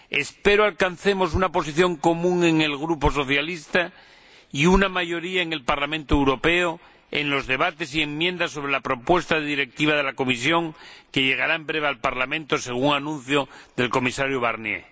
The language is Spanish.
Espero que alcancemos una posición común en el Grupo Socialista y una mayoría en el Parlamento Europeo en los debates y enmiendas sobre la propuesta de Directiva de la Comisión, que llegará en breve al Parlamento, según el Comisario Barnier.